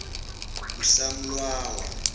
usamlawa